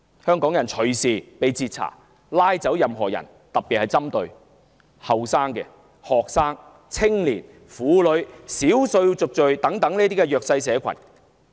他們隨時截查香港人，帶走任何人，特別針對年青學生、青年、婦女、少數族裔等弱勢社群。